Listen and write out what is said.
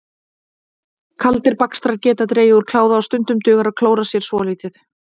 Kaldir bakstrar geta dregið úr kláða og stundum dugar að klóra sér svolítið.